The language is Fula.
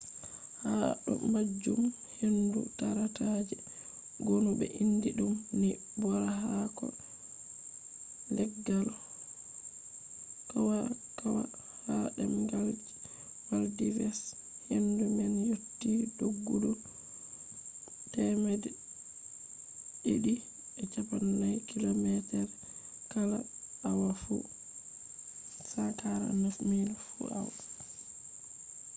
ha do majum hendu tarata je gonu be indi dum ni bora haako leggal kwakwa ha demgal je maldives hendu man yotti doggudu 240 kilometers kala awa fu 149 miles fu awa